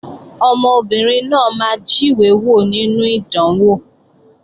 Ọmọbìnrin náà máa jíwé wò nínú ìdánwò